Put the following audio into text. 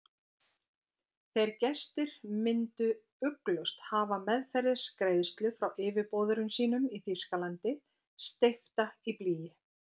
Þeir gestir myndu ugglaust hafa meðferðis greiðslu frá yfirboðurum sínum í Þýskalandi, steypta í blý.